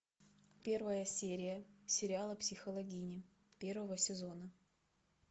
первая серия сериала психологини первого сезона